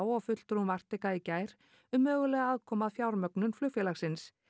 og fulltrúum Arctica í gær um mögulega aðkomu að fjármögnun flugfélagsins